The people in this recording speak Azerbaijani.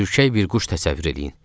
Ürkək bir quş təsəvvür eləyin.